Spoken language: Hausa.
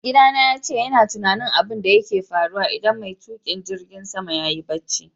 Maigida na yace yana tunani abun da ke faru idan mai tukin jirigin sama yayi barci.